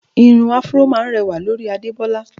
Irun áfúró máá ń rẹwà lórí Adebola